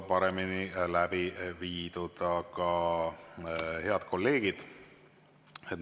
Head kolleegid!